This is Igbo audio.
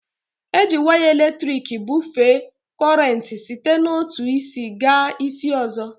Eji waya elektriki ebufee kọrenti site n'otu isi gaa isi ọzọ